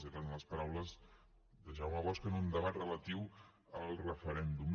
eren les paraules de jaume bosch en un debat relatiu al referèndum